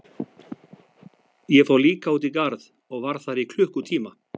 Ég fór líka út í garð og var þar í klukkutíma.